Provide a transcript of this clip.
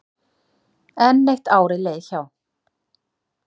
Enn eitt árið leið hjá.